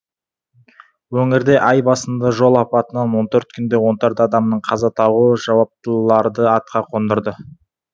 өңірде ай басында жол апатынан он төрт күнде он төрт адамның қаза табуы жауаптыларды атқа қондырды